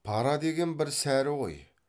пара деген бір сәрі ғой